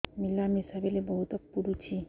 ମିଳାମିଶା ବେଳେ ବହୁତ ପୁଡୁଚି